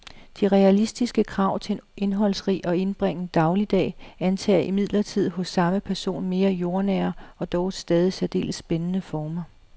De realistiske krav til en indholdsrig og indbringende dagligdag antager imidlertid hos samme person mere jordnære og dog stadig særdeles spændende former.